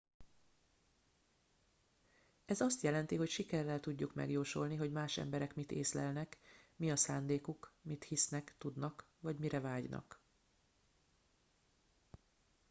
ez azt jelenti hogy sikerrel tudjuk megjósolni hogy más emberek mit észlelnek mi a szándékuk mit hisznek tudnak vagy mire vágynak